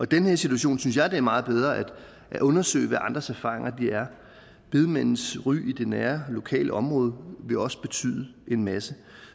den her situation synes jeg det er meget bedre at undersøge hvad andres erfaringer er bedemandens ry i det nære lokale område vil også betyde en masse